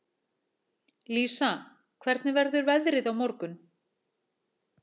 Lísa, hvernig verður veðrið á morgun?